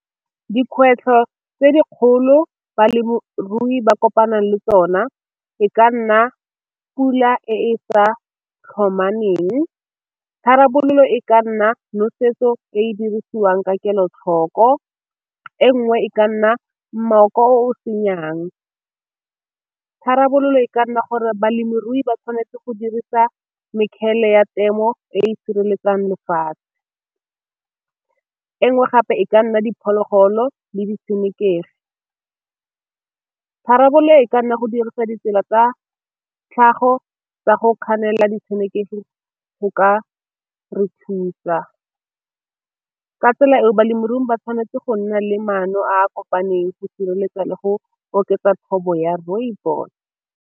Dikgwetlho tse dikgolo balemirui ba kopanang le tsona e ka nna pula e sa tlhomameng. Tharabololo e ka nna nosetso e e dirisiwang ka kelotlhoko, e nngwe e ka nna mmoko o senyang. Tharabololo e ka nna gore balemirui ba tshwanetse go dirisa ya temo e e sireletsang lefatshe, engwe gape e ka nna diphologolo le ditshenekegi, tharabololo e ka nna go dirisa ditsela tsa tlhago tsa go kganelela ditshenekegi go ka re thusa ka tsela eo balemirui ba tshwanetse go nna le maano a kopaneng go sireletsa le go oketsa thobo ya rooibos.